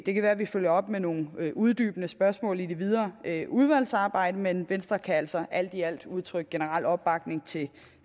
det kan være at vi følger op med nogle uddybende spørgsmål i det videre udvalgsarbejde men i venstre kan vi altså alt i alt udtrykke generel opbakning til